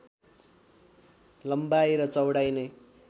लम्बाई र चौडाई नै